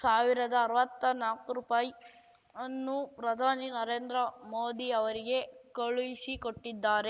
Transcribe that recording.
ಸಾವಿರ್ದಾ ಅರ್ವತ್ನಾಕು ರುಪಾಯಿ ಅನ್ನು ಪ್ರಧಾನಿ ನರೇಂದ್ರ ಮೋದಿ ಅವರಿಗೆ ಕಳುಹಿಸಿಕೊಟ್ಟಿದ್ದಾರೆ